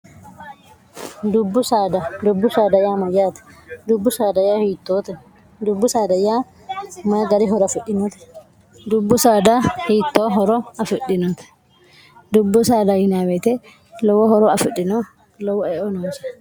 dubbu saada dubbu saadaya mayyaate dubbu d hiittoote dubbu saadayyaa mayi gari horo afidhinoote dubbu saada hiittoo horo afidhinote dubbu saada yinaaweete lowo horo afidhino lowo eo noonse